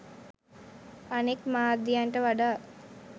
අනෙක් මාධ්‍යන්ට වඩා